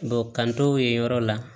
ka t'o ye yɔrɔ la